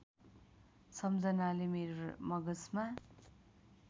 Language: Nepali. सम्झनाले मेरो मगजमा